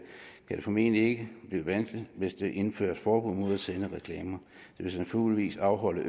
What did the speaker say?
formentlig ikke blive vanskeligt hvis der indføres forbud mod at sende reklamer det vil naturligvis afholde